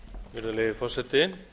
virðulegi forseti